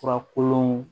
Fura kolon